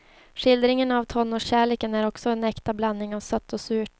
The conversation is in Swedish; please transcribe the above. Skildringen av tonårskärleken är också en äkta blandning av sött och surt.